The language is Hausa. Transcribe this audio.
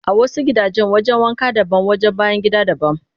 A wasu gidajen wajen wanka daban wajen bayan gida daban